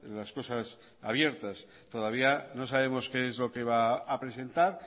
las cosas abiertas todavía no sabemos qué es lo que va a presentar